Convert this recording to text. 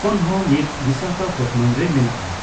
ᱠᱷᱚᱱ ᱦᱚᱸ ᱢᱤᱫ ᱵᱤᱥᱟᱠᱷᱟᱯᱚᱛᱛᱚᱱᱚᱢ ᱨᱮ ᱢᱮᱱᱮᱜᱼ ᱟ ᱾